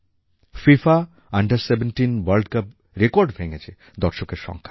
FIFA under 17 world CUPরেকর্ড ভেঙেছে দর্শকের সংখ্যায়